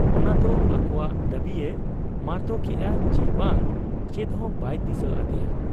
ᱚᱱᱟᱫᱚ ᱟᱠᱚᱣᱟᱜ ᱫᱟᱹᱵᱤᱭᱮ ᱢᱟᱨᱛᱚᱠᱮᱜ ᱟ ᱪᱤ ᱵᱟᱝ, ᱪᱮᱫᱦᱚᱸ ᱵᱟᱭ ᱫᱤᱥᱟᱹ ᱟᱫᱮᱭᱟ ᱾